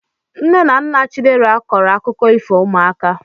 Nne na nna chidera kọọrọ akụkọ ifo ụmụaka